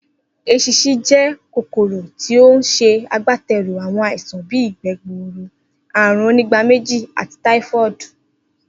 Es̩ins̩in jé̩ kòkòrò tí ó ń s̩e agbáte̩rù àwo̩n àìsàn bíi ìgbé̩ gburu, àrùn onígbaméjì, ati táífó̩ò̩dù,